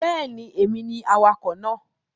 Bẹ́ẹ̀ni, èmi ni awakọ̀ náà